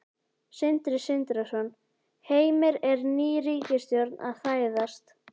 Sindri Sindrason: Heimir, er ný ríkisstjórn að fæðast?